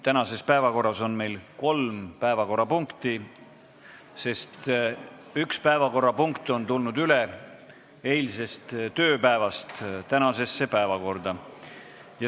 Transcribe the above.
Tänases päevakorras on meil kolm päevakorrapunkti, sest üks päevakorrapunkt on tulnud eilsest tööpäevast tänasesse päevakorda üle.